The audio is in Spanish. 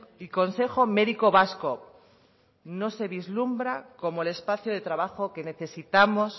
y consejo médico vasco no se vislumbra como el espacio de trabajo que necesitamos